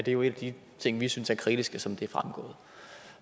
jo en af de ting vi synes er kritisk som det